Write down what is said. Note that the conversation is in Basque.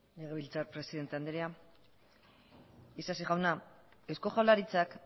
legebiltzar presidente andrea isasi jauna eusko jaurlaritzak